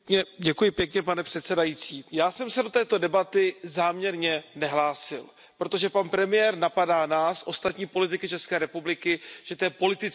Pane předsedající, já jsem se do této debaty záměrně nehlásil, protože pan premiér napadá nás, ostatní politiky České republiky, že to je politická hra.